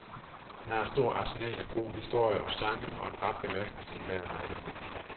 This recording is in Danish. Han har et stort arsenal af gode historier og sange og en rap bemærkning til enhver lejlighed.